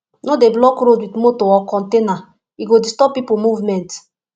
no dey block road with motor or container e go disturb people movement